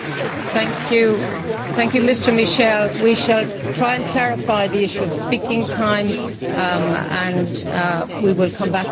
We shall try and clarify the issue of speaking time and we will come back to you with clarification on that.